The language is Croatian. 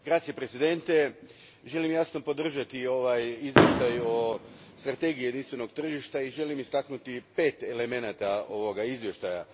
Gospodine predsjedniče, želim jasno podržati ovo izvješće o strategiji jedinstvenog tržišta i želim istaknuti pet elemenata ovoga izvješća.